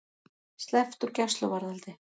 Sleppt úr gæsluvarðhaldi